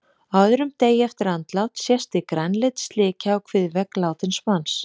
Á öðrum degi eftir andlát sést því grænleit slikja á kviðvegg látins manns.